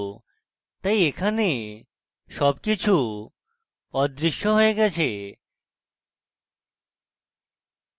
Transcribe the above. তাই এখানে সবকিছু অদৃশ্য হয়ে যায়